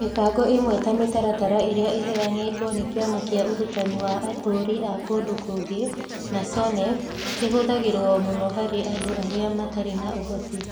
Mĩbango ĩmwe ta mĩtaratara ĩrĩa ĩheanĩtwo nĩ Kĩama kĩa Ũrutani wa atũũri a kũndũ kũngĩ (NACONEK) kĩhũthagĩrũo mũno harĩ andũ arĩa matarĩ na ũhoti.